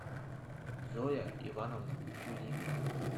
зоя ивановна кулигина